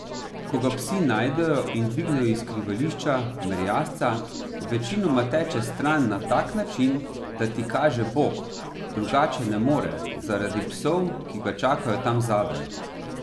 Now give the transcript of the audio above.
Ko ga psi najdejo in dvignejo iz skrivališča, merjasca, večinoma teče stran na tak način, da ti kaže bok, drugače ne more, zaradi psov, ki ga čakajo tam zadaj.